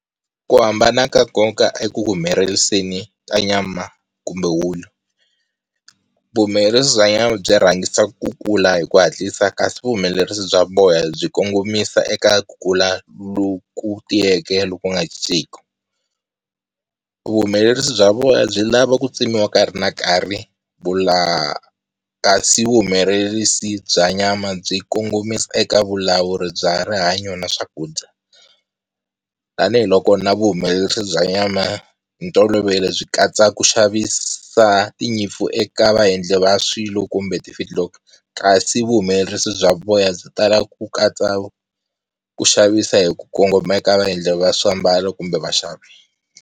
Ku hambana ka nkoka eku humeleriseni ka nyama kumbe wulu. Vuhumelerisi bya nyama byi rhangisa ku kula hi ku hatlisa kasi vuhumelerisi bya voya byi kongomisa eka ku kula loku tiyeke loku nga cinciku. Vuhumelerisi bya vona byi lava ku tsemiwa nkarhi na nkarhi. vuhumelerisi bya nyama byi kongomisa eka vulawuri bya rihanyo na swakudya, tanihil oko na vuhumelerisi bya nyama hi ntolovelo byi katsa ku xavisa tinyimpfu eka vaendli va swilo kumbe ti kasi vuhumelerisi bya voya byi tala ku katsa ku xavisa hi ku kongomeke ka vaendli va swiambalo kumbe vaxavi.